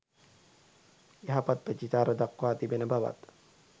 යහපත් ප්‍රතිචාර දක්වා තිබෙන බවත්